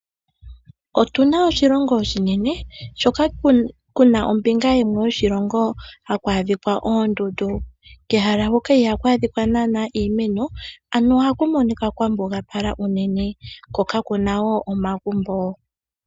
Otuna oshilongo oshinene shoka kuna ombinga yimwe yoshilongo haku adhika oondundu, kehala huka ihaku adhika naana iimeno, ano ohaku monika kwa mbugapala unene, ko kakuna wo omagumbo.